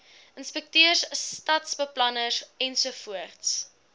inspekteurs stadsbeplanners ensovoorts